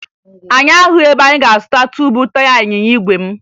Anyị ahụghị ebe anyị ga-azụta tuubu taya ịnyịnya igwe m